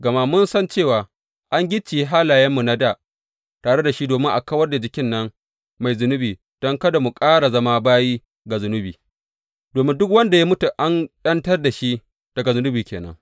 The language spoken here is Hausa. Gama mun san cewa an gicciye halayenmu na dā tare da shi domin a kawar da jikin nan mai zunubi don kada mu ƙara zama bayi ga zunubi domin duk wanda ya mutu an ’yantar da shi daga zunubi ke nan.